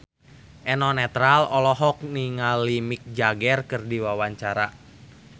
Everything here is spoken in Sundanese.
Eno Netral olohok ningali Mick Jagger keur diwawancara